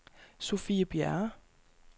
Sofie Bjerre